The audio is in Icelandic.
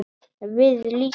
Við líka?